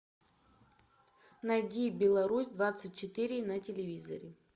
найди беларусь двадцать четыре на телевизоре